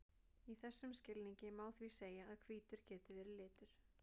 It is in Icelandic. í þessum skilningi má því segja að hvítur geti verið litur